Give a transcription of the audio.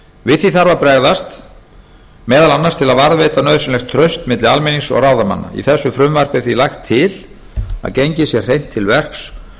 við því þarf að bregðast meðal annars til að varðveita nauðsynlegt traust milli almennings og ráðamanna í þessu frumvarpi er því lagt til að gengið sé hreint til verks